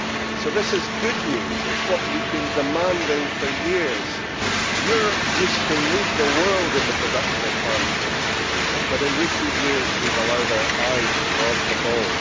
So this is good news it is what we have been demanding for years. Europe used to lead the world in the production of farmed fish but in recent years we have allowed our eye to go off the ball.